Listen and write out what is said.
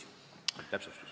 Selge, see oli täpsustus.